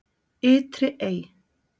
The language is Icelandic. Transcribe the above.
Ytri Ey